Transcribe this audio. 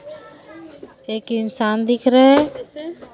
एक इंसान दिख रहे--